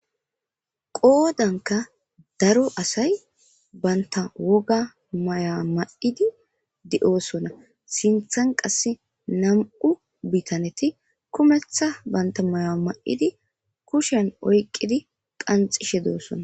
Qoodankka daro asay banththa woga mayuwa may7idi de7oosona; sinththen qassi nam7u bithanethi kuneththa banththa mayuwa may7idi kushiyan oyqqidi qanxxishe doosona.